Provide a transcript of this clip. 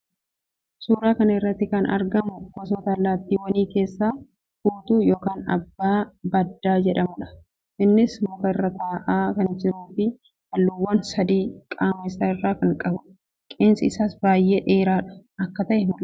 Suuraa kana irratti kan argamu gosoota allaatiiwwanii keessaa fuutuu yookiin abbaa baddaa jedhamuudha. Innis muka irra taa'aa kan jiruu fi halluuwwan sadii qaamaa isaa irraa kan qabuudha. Qeensi isaas baayyee dhedheeraa akka ta'e mul'isa.